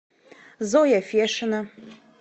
зоя фешина